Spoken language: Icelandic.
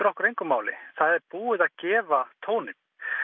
okkur engu máli það er búið að gefa tóninn